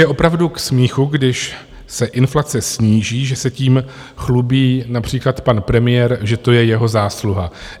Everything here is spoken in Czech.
Je opravdu k smíchu, když se inflace sníží, že se tím chlubí například pan premiér, že to je jeho zásluha.